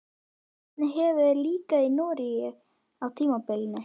Hvernig hefur þér líkað í Noregi á tímabilinu?